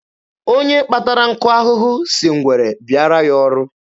Onye kpatara nkụ ahụhụ si ngwere bịaara ya ọrụ.